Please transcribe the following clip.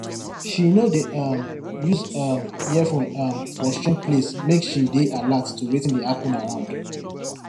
she no dey um use um earphone um for strange place make she dey alert to wetin dey happen around